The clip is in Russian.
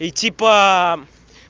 и типа